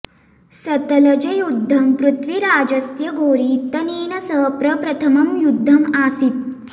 सतलजयुद्धं पृथ्वीराजस्य घोरी इत्यनेन सह प्रप्रथमं युद्धम् आसीत्